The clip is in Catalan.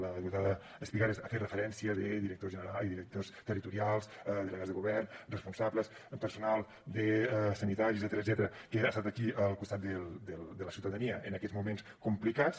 la diputada espigares ha fet referència a directors territorials delegats de govern responsables personal sanitari etcètera que han estat aquí al costat de la ciutadania en aquests moments complicats